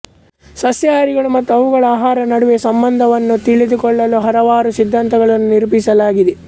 ಸಸ್ಯಹಾರಿಗಳು ಮತ್ತು ಅವುಗಳ ಆಹಾರ ನಡುವೆ ಸಂಬಂಧವನ್ನು ತಿಳಿದುಕೊಳ್ಳಲು ಹಲವಾರು ಸಿಧ್ಧಾಂತಗಳನ್ನು ನಿರೂಪಿಸಲಾಗಿದೆ